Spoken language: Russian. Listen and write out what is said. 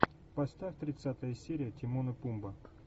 поставь тридцатая серия тимон и пумба